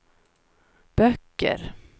böcker